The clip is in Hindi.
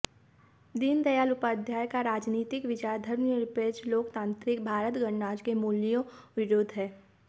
दीन दयाल उपाध्याय का राजनीतिक विचार धर्मनिरपेक्ष लोकतांत्रिक भारत गणराज्य के मूल्यों विरूद्ध है